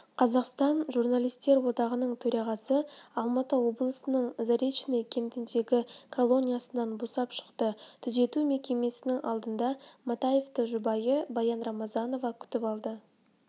қазақстан журналистер одағының төрағасы алматы облысының заречный кентіндегі колониясынан босап шықты түзету мекемесінің алдында матаевты жұбайы баян рамзанова күтіп алды